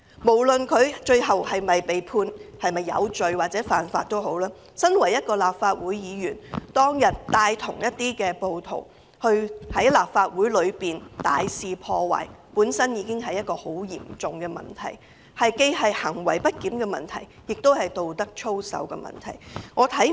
無論他最後是否被判有罪，他身為立法會議員，當天帶同暴徒在大樓內大肆破壞，已是十分嚴重的問題，這既是行為不檢的問題，亦是道德操守的問題。